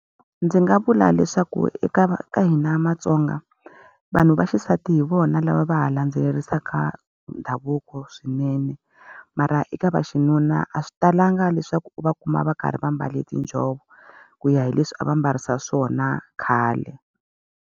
Ndzi nga vula leswaku eka ka hina maTsonga, vanhu va xisati hi vona lava va ha landzelerisaka ndhavuko swinene. Mara eka vaxinuna a swi talanga leswaku u va kuma va karhi va mbale tinjhovo, ku ya hi leswi a va mbarisa swona khale.